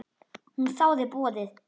Hún þáði boðið.